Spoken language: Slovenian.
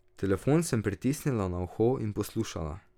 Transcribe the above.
Telefon sem pritisnila na uho in poslušala.